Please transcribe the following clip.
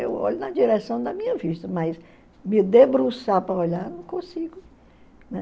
Eu olho na direção da minha vista, mas me debruçar para olhar, não consigo.